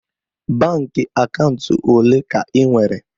Baankị akaụntụ ole ka ị nwere?